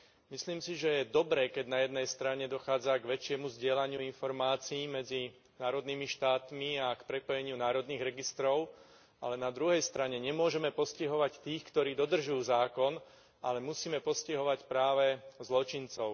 Myslím si, že je dobré, keď na jednej strane dochádza k väčšiemu zdieľaniu informácií medzi národnými štátmi a k prepojeniu národných registrov, ale na druhej strane nemôžeme postihovať tých, ktorí dodržujú zákon, ale musíme postihovať práve zločincov.